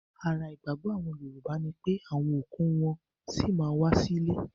Ara ìgbàgbọ́ àwọn Yorùbá ní wípé àwọn òkú wọn-ọn sí ma ń wá sí ilé